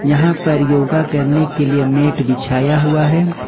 यहां पर योगा करने के लिए मैट बिछाया हुआ है।